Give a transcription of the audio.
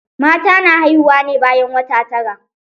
Mata na haihuwa ne bayan wata tara.